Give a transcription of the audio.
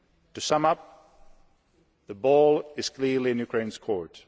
To sum up, the ball is clearly in Ukraine's court.